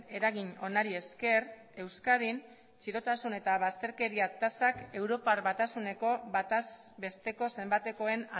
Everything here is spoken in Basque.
eragin onari esker euskadin txirotasun eta bazterkeria tasak europar batasuneko bataz besteko zenbatekoen